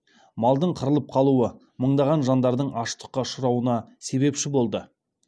малдың қырылып қалуы мыңдаған жандардың аштыққа ұшырауына себепші болды